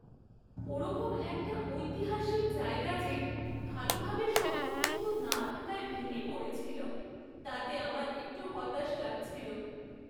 ওরকম একটা ঐতিহাসিক জায়গা যে ভালোভাবে সংরক্ষিত না থাকায় ভেঙে পড়েছিল তাতে আমার একটু হতাশ লাগছিল।